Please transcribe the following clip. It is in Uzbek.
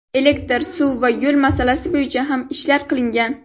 Elektr, suv va yo‘l masalasi bo‘yicha ham ishlar qilingan.